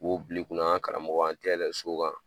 M'o bila i kunna an ka karamɔgɔ an tɛ yɛlɛ so kan.